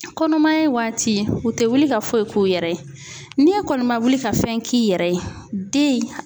Kɔnɔmaya waati u tɛ wuli ka foyi k'u yɛrɛ ye n'i kɔni ma wuli ka fɛn k'i yɛrɛ ye den